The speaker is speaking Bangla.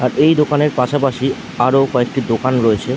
আর এই দোকানের পাশাপাশি আরো কয়েকটি দোকান রয়েছে ।